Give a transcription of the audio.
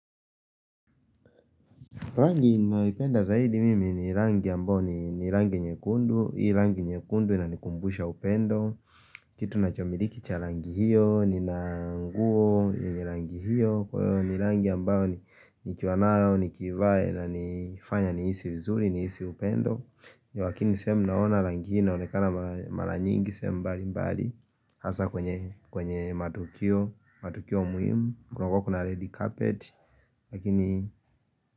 Rangi ninayoipenda zaidi mimi ni rangi ambayo ni rangi nyekundu, hii rangi nyekundu ina nikumbusha upendo, kitu na chomiliki cha rangi hiyo, nina nguo, yenye rangi hiyo, kwa hiyo ni rangi ambayo ni kiwanayo, nikivaa ina nifanya nihisi vizuri, nihisi upendo ni wakini sehemu naona rangi inaonekana maranyingi sehemu mbali mbali hasa kwenye matukio muhimu. Kunakuwa kuna red carpet. Lakini.